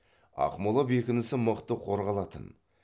ақмола бекінісі мықты қорғалатын